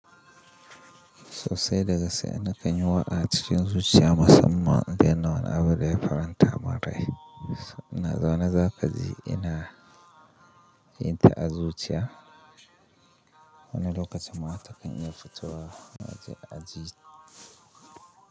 So sai da gaske nakan yi waƙa acikin zuciya musamman idan wani al'amari ya faranta mun rai. Ina zaune zaka ji ina yin ta azuciya. Wani lokacin ma takan iya fitowa a aji.